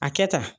A kɛ ta